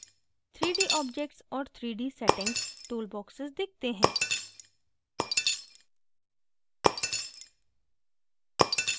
3dobjects और 3dsettings tool boxes दिखते हैं